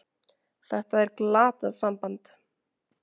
Þetta er glatað samband!